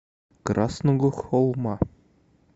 красного холма